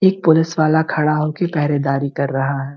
एक पुलिस वाला खड़ा हो के पहरेदारी कर रहा है।